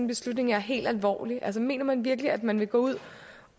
beslutning helt alvorligt mener man virkelig at man vil gå ud